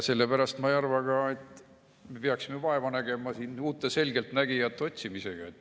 Ma ei arva ka, et me peaksime vaeva nägema uute selgeltnägijate otsimisega.